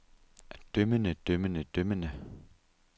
dømmende dømmende dømmende